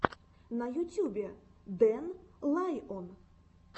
на ютюбе дэн лайон